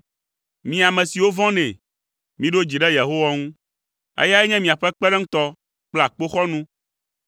Mi ame siwo vɔ̃nɛ, miɖo dzi ɖe Yehowa ŋu, eyae nye miaƒe kpeɖeŋutɔ kple akpoxɔnu.